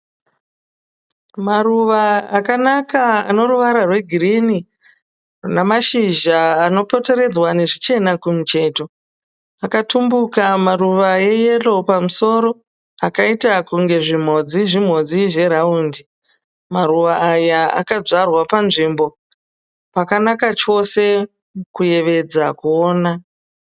Maruva akanaka ane ruvara rwe girini namáshizha anopoteredzwa nezvichena kumucheto. Akatumbuka maruwa e yero pamusoro akaita kunge zvimhodzi zvimhodzi zveraundi. Maruva aya akadyarwa panzvimbo pakanaka chose kuyevedza kuona.